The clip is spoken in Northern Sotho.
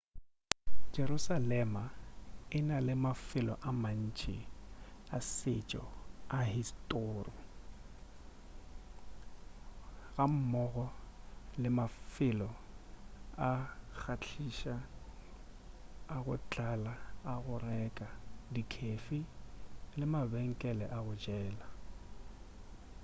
jerusalema e na le mafelo a mantši a setšo a historu gammogo le mafelo a kgahliša a go tlala a go reka dikhefi le mabenkele a go jela